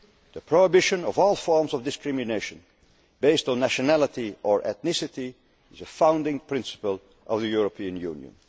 the Roma. The prohibition of all forms of discrimination based on nationality or ethnicity is the founding principle of the European